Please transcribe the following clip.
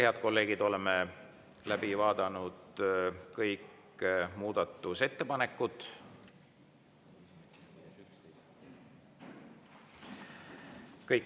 Head kolleegid, oleme läbi vaadanud kõik muudatusettepanekud.